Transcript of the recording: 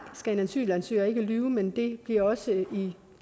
skal en asylansøger ikke lyve men det bliver også i